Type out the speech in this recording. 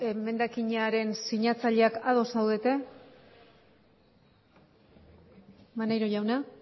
emendakinaren sinatzaileak ados zaudete maneiro jauna